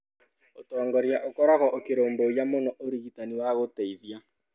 Ũtongoria ũkoragwo ũkĩrũmbũiya mũno ũrigitani wa gũteithia.